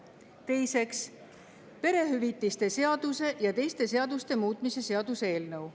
Teiseks, perehüvitiste seaduse ja teiste seaduste muutmise seaduse eelnõu.